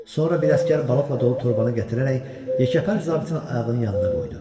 Sonra bir əsgər balıqla dolu torbanı gətirərək yekəpər zabitin ayağının yanına qoydu.